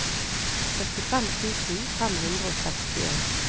syttifem tusen fem hundre og sekstien